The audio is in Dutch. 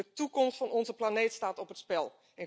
De toekomst van onze planeet staat op het spel.